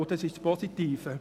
Dies ist das Positive.